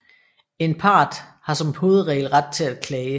En part har som hovedregel ret til at klage